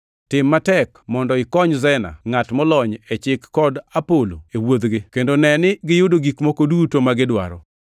Tim matek mondo ikony Zena ngʼat molony e chik kod Apolo e wuodhgi, kendo ne ni giyudo gik moko duto magidwaro.